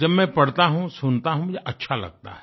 जब मैं पढता हूँ सुनता हूँ मुझे अच्छा लगता है